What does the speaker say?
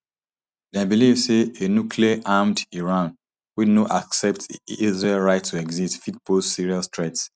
dem believe say a nucleararmed iran wey no accept israel right to exist fit pose serious threat